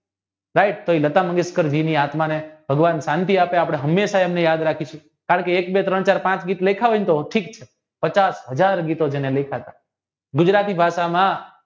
ભાઈ તે લતા મંગેશ્કરજીની આત્માને ભગવાન શાંતિ આપે આપણે હંમેશા એમ્બને યાદ રાખીશુ કારણકે એક બે ત્રણ ચાર પાંચ ગીત લખ્યા હોય ને તો ઠીક છે પચાસ હાજર જેને ગીતો લખ્યા હતા ગુજરાતી ભાષામાં